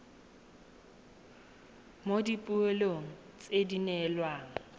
mo dipoelong tse di neelwang